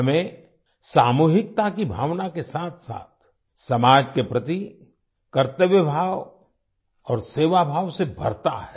हमें सामूहिकता की भावना के साथसाथ समाज के प्रति कर्तव्यभाव और सेवाभाव से भरता है